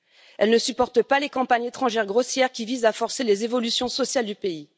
Elle ne supporte pas les campagnes étrangères grossières qui visent à forcer les évolutions sociales du pays.